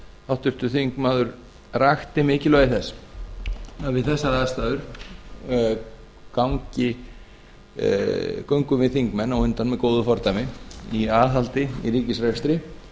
háttvirtur þingmaður rakti mikilvægi þess að við þessar aðstæður göngum við þingmenn á undan með góðu fordæmi í aðhaldi í ríkisrekstri